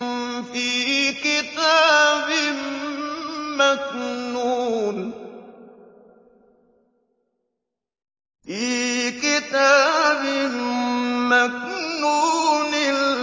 فِي كِتَابٍ مَّكْنُونٍ